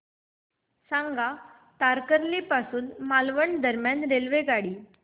सांगा तारकर्ली पासून मालवण दरम्यान रेल्वेगाडी